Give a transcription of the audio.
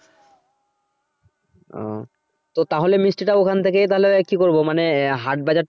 তো তাহলে মিষ্টি টা ওখান থেকেই তাহলে কি করব মানে আহ হাট বাজার।